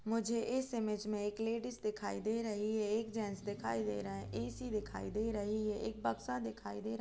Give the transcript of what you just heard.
मुझे इस इमेज में एक लेडिस दिखाई दे रही है एक जेन्ट्स दिखाई दे रहा है ऐ.सी. दिखाई दे रही है एक बक्सा दिखाई दे रहा --